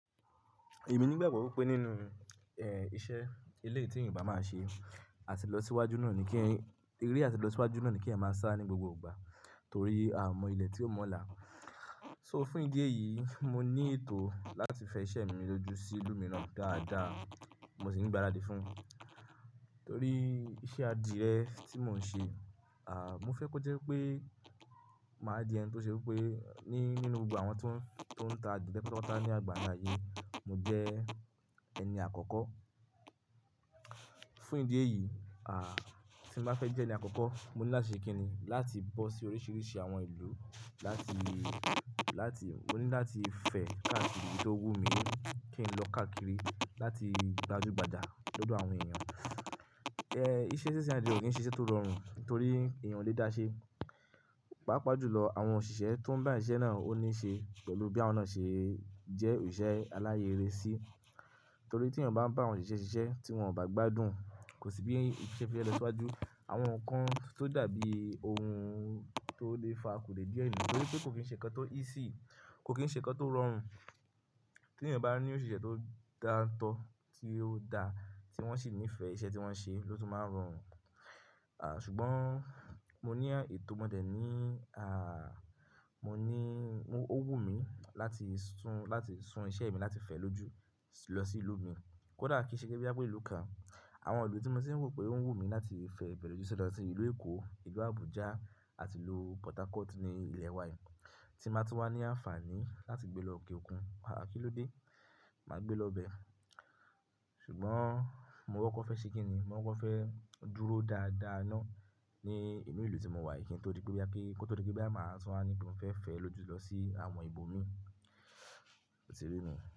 Èmi nígbàgbọ́ wípé nínú, ẹ́, iṣẹ́ ilé tí ènìyàn bá máa ṣe, àti lọ síwájú náà ni kí ẹ̀yin, ere àti lọ síwájú náà ni kí ẹ̀yan máa sá ní gbogbo ìgbà torí a mọ ilẹ̀ tí ó mọ́la. So fún ìdí èyí, mo ní ètò láti fẹ iṣẹ́ mi ló jù sí ìlú mi náà dáadáa, mo sì ń gbaradì fún, torí iṣẹ́ adìẹ tí mò ń ṣe, à, mo fẹ́ kó jẹ́ pé màá di ẹni tó ṣe wípé ní nínú gbogbo àwọn tó ń, tó ń ta adìẹ pẹ̀lú ọwọ́ tá ní àgbáyé, mo jẹ ẹni àkọ́kọ́. Fún ìdí èyí, à, tí mo bá fẹ́ jẹ ẹni àkọ́kọ́, mo ní láti ṣe kín ni láti bọ́ sí oríṣiríṣi àwọn ìlú láti, láti, mo ní láti fẹ káàkiri tí ó wù mí kí n lọ káàkiri láti gbajúgbajà lọ́dọ̀ àwọn ènìyàn. Ẹ, iṣẹ́ sísẹ́ adìẹ kò ṣe iṣẹ́ tó rọrùn torí èèyàn le dáṣẹ. Páápàá jùlọ àwọn òṣìṣẹ́ tó ń bá iṣẹ́ náà ó ní ṣe pẹ̀lú bí àwọn náà ṣe jẹ́ òṣìṣẹ́ aláyé-ere-sí. Torí tí èèyàn bá ń bá àwọn òṣìṣẹ́ ṣe iṣẹ́ tí wọ́n ò bá gbádùn, kò sí bí iṣẹ́ fi lè lọ síwájú. Àwọn nǹkan tó dàbí ohun tó lè fa akudàbí ọ̀yẹ́ nítorí pé kò kín ṣe nǹkan tó easy, kò kín ṣe nǹkan tó rọrùn. Tí èèyàn bá ní òṣìṣẹ́ tó dáńtọ́, tí ó da, tí wọ́n sì nífẹ̀ẹ́ iṣẹ́ tí wọ́n ń ṣe, ló tún máa rọrùn. À, ṣùgbọ́n mo ní ètò mọ́ dẹ̀ ní, à, mo ní ó wù mí láti sun, láti sun iṣẹ́ mi láti fẹ́ lójú lọ sí ìlú mi. Kódà kí í ṣe gé bí i bá pé ìlú kan. Àwọn ìlú tí mo ti rò pé ó ń wù mí láti fẹ bẹ̀rẹ̀ ojúṣe dáadáa ni ìlú Èkó, ìlú Abuja àti ìlú Port Harcourt ní ilẹ̀ wa yìí. Tí màá tú wá ní àǹfààní láti gbé lọ òkè òkun, ara kí ló dé, màá gbé lọ bẹ. Ṣùgbọ́n mo wọ́pọ̀ fẹ́ ṣe kín ni, mo wọ́pọ̀ fẹ́ dúró dáadáa náà ní inú ìlú tí mo wà yìí kí n tó rí pé bí a kí, kí ó tó rí pé bí màá san á ní bí mo fẹ́ fẹ́ lójú lọ sí àwọn ibo mi. O ti rí mi.